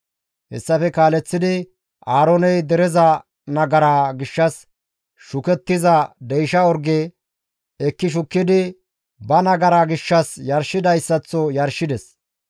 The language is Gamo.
Hessafe kaaleththidi Aarooney dereza nagaraa gishshas shukettiza deysha orge ekki shukkidi ba nagara gishshas yarshidayssaththo yarshides.